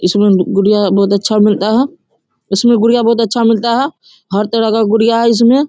इसमें गुड़िया बहुत अच्छा मिलता है इसमें गुड़िया बहुत अच्छा मिलता है हर तरह का गुड़िया है इसमें।